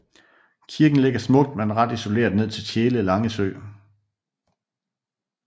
Kirken ligger smukt men ret isoleret ned til Tjele Langsø